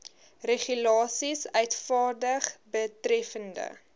regulasies uitvaardig betreffende